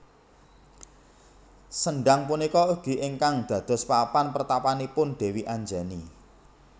Sendhang punika ugi ingkang dados papan pertapanipun Dewi Anjani